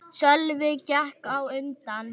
Sölvi gekk á undan.